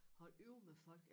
Holde øje med folk